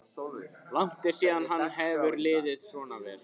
Langt er síðan henni hefur liðið svona vel.